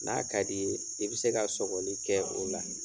N'a ka di ye i bɛ se ka sɔgɔli kɛ o la.